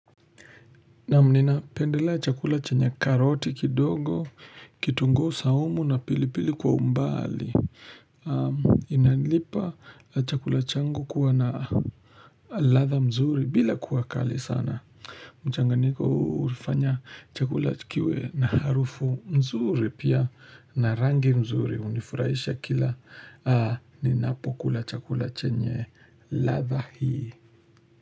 Naam nina pendelea chakula chenye karoti kidogo, kitunguu saumu na pilipili kwa umbali. Inalipa chakula changu kuwa na ladha mzuri bila kuwa kali sana. Mchangayiko ulifanya chakula kiwe na harufu mzuri pia na rangi mzuri. Unifurahisha kila ninapokula chakula chenye ladha hii.